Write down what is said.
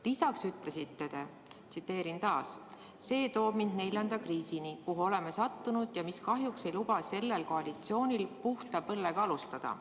" Lisaks ütlesite te: "See toob mind neljanda kriisini, kuhu oleme sattunud ja mis kahjuks ei luba sellel koalitsioonil puhta põllega alustada.